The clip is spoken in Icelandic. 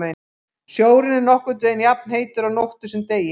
Sjórinn er nokkurn veginn jafnheitur á nóttu sem degi.